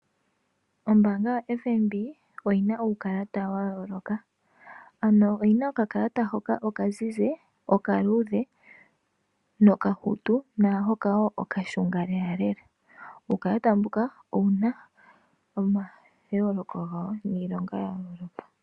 Ombaanga yo FNB oyina uukalata wa yooloka, oyina oka kalata hoka oka mbulawu, oka luudhe, nokahut woo okashunga lelalela. Uukalata mbuka owuna omayooloko gawo niilonga yawo.